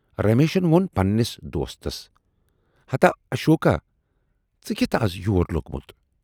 رمیشن وون پنہٕ نِس دوستس ہتا اشوکا ژٕ کِتھٕ از یور لوگمُت